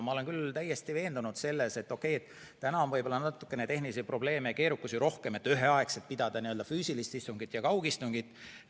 Ma olen küll täiesti veendunud, et täna on võib-olla natukene tehnilisi probleeme ja keerukusi rohkem, kui pidada üheaegselt füüsilist istungit ja kaugistungit.